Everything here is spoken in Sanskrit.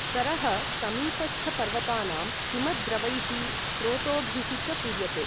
सरः समीपस्थपर्वतानां हिमद्रवैः स्रोतोभिः च पूर्यते।